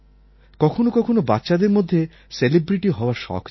কখনো কখনো বাচ্চাদের মধ্যে সেলিব্রিটি হওয়ার শখ জাগে